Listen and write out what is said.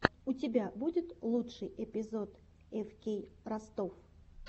у тебя будет лучший эпизод эфкей ростов